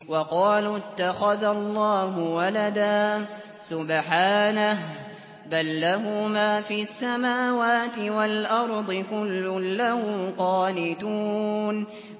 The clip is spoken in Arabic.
وَقَالُوا اتَّخَذَ اللَّهُ وَلَدًا ۗ سُبْحَانَهُ ۖ بَل لَّهُ مَا فِي السَّمَاوَاتِ وَالْأَرْضِ ۖ كُلٌّ لَّهُ قَانِتُونَ